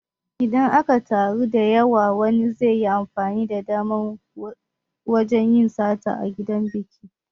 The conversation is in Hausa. Idan an taru da yawa wani zaiyi amfani da damar wajan yin sata a gidan biki